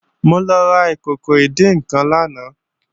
Mo lọ ra ìkòkò ìdín-nǹkan lánàá